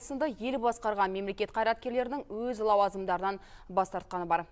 сынды ел басқарған мемлекет қайраткерлерінің өз лауазымдарынан бас тартқаны бар